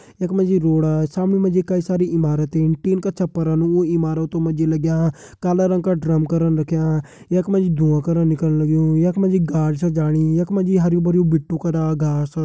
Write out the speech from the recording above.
एक मे जी रोड सामने मे जी कई सारी ईमारत तिन का छपर उ इमारतों मा जी लग्यां काला रंग का ड्रम करण रख्यां यख मा जी धुँवा करण निकलन लग्युं यख मा जी गाड़ छ जाणी यख मा जी बिट्टु करा घास --